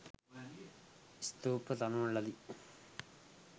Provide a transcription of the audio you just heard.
ස්තූප තනවන ලදී.